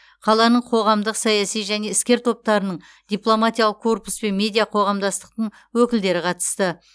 қаланың қоғамдық саяси және іскер топтарының дипломатиялық корпус пен медиа қоғамдастықтың өкілдері қатысты